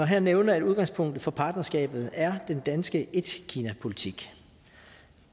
her nævne at udgangspunktet for partnerskabet er den danske etkinapolitik